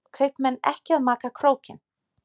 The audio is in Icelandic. Kaupmenn ekki að maka krókinn